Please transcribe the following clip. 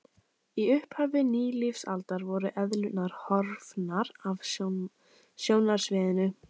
Í upphafi nýlífsaldar voru eðlurnar horfnar af sjónarsviðinu.